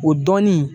O dɔnni